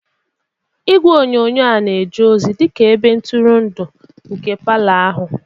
Igwe onyonyo a na-eje ozi dị ka ebe ntụrụndụ nke palọ ahụ.